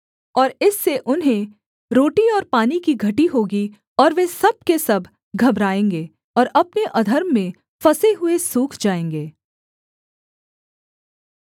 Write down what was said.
और इससे उन्हें रोटी और पानी की घटी होगी और वे सब के सब घबराएँगे और अपने अधर्म में फँसे हुए सूख जाएँगे